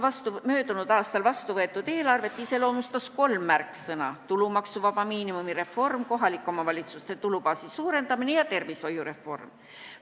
Möödunud aastal vastuvõetud eelarvet iseloomustasid kolm märksõna: tulumaksuvaba miinimumi reform, kohalike omavalitsuste tulubaasi suurendamine ja tervishoiureform.